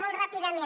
molt ràpidament